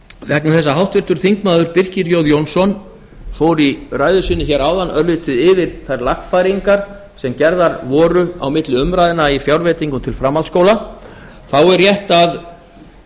vegna þess að háttvirtur þingmaður birkir j jónsson fór í ræðu sinni hér áðan örlítið yfir þær lagfæringar sem gerðar voru á milli umræðna í fjárveitingum til framhaldsskóla er rétt að